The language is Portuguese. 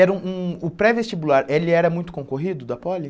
Era um um o pré-vestibular, ele era muito concorrido da poli?